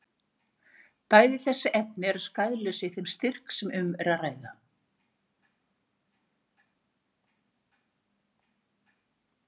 Bæði þessi efni eru skaðlaus í þeim styrk sem um er að ræða.